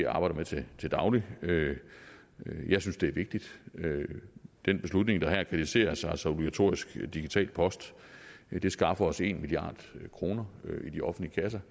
arbejder med til daglig jeg synes det er vigtigt den beslutning der kritiseres her altså obligatorisk digital post skaffer os en milliard kroner i de offentlige kasser